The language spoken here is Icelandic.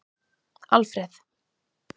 Alfreð